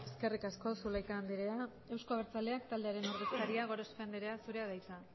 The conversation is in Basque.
eskerrik asko zulaika andrea euzko abertzaleak taldearen ordezkaria gorospe andrea zurea da hitza